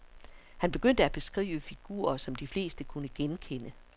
Han begyndte at beskrive figurer, som de fleste kunne genkende.